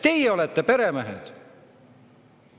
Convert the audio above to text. Teie olete peremehed!